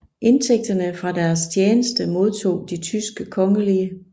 Indtægterne fra deres tjeneste modtog de tyske kongelige